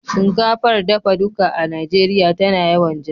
Shinkafar dafa duka a Najeriya tana yawan ja.